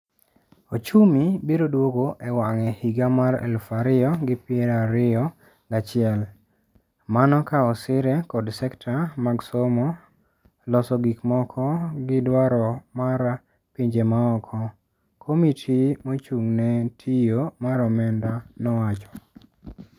"Ochumi biro duogo e wang'e higa mar eluf ario gi prario gachiel. Mano ka osire kod sekta mag somo, loso gik moko gi dwaro mar pinje maoko,". Komiti mochung'ne tio mar omenda nowacho.